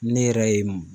Ne yɛrɛ ye